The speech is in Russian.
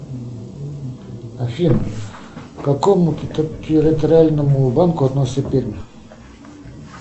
афина к какому территориальному банку относится пермь